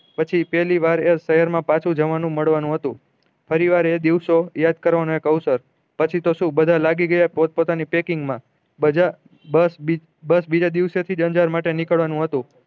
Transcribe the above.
પછી પેહલી વાર એ સેહેર મેં પાછુ જવાનું મળવાનું હતું ફરી ફાર એ દિવસો યાદ કરવાના એક અવસર પછી તો શું બધા લાગી ગયા પોત પોતાની packing મા બધા દસ બીજા દિવસે થી અંજાર માટે નીકળવાનું હતું